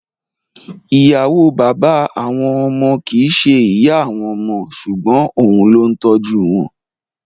Ì̀yàwó bàbá àwọn ọmọ kìí ṣe ìyá àwọn ọmọ ṣùgbọ́n òun ló ń tọ́jú wọn.